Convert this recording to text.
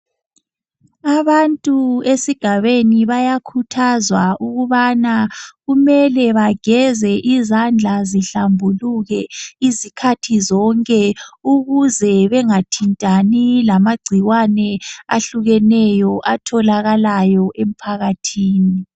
Abantu esigabeni bayakhuthazwa ukubana kumele bageze izandla zihlambuluke izikhathi zonke ukuze, bengathintani lamagcikwane ahlukahlukeneyo atholakalayo emphakathini.